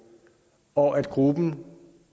og at gruppen